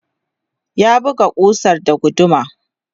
ya buga kusar da guduma